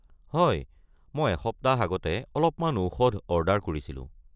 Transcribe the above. হয়, মই এসপ্তাহ আগতে অলপমান ঔষধ অৰ্ডাৰ কৰিছিলোঁ।